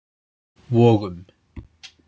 Vogum